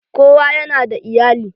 Kowa yana da iyali.